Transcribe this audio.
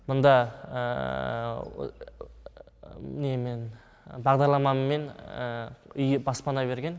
мұнда немен бағдарламамен үй баспана берген